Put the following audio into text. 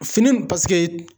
Fini paseke